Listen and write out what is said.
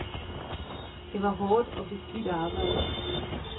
Det var hårdt og beskidt arbejde.